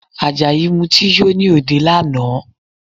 Àjàyí Mutí yó ní òde lánàá